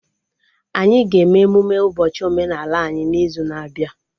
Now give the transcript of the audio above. Anyị ga-eme emụme ụbọchị omenaala anyị n'izu na-abịa